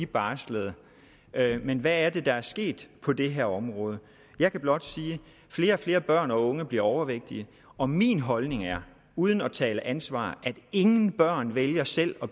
barslede men hvad er det der er sket på det her område jeg kan blot sige at flere og flere børn og unge bliver overvægtige og min holdning er uden at tale om ansvar at ingen børn selv vælger selv